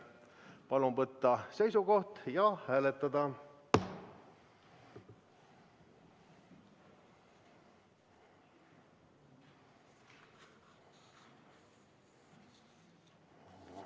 Palun võtta seisukoht ja hääletada!